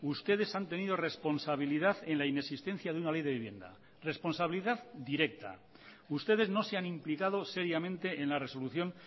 ustedes han tenido responsabilidad en la inexistencia de una ley de vivienda responsabilidad directa ustedes no se han implicado seriamente en la resolución